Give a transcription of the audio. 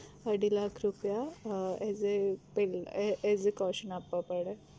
અઢી લાખ રૂપિયા as a પેલા as a caution આપવા પડે